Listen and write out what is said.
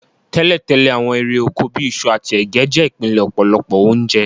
Tẹ́lẹ̀tẹ́lẹ̀, àwon érè oko bi isu àtí ẹ̀gẹ́ je ìpìnlẹ̀ ọ̀pọ̀lọpọ̀ ounje